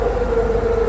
Həyyə ələs-səlah.